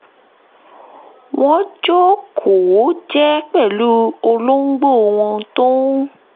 wọ́n jókòó jẹ́ẹ́ pẹ̀lú olóńgbò wọn tó ń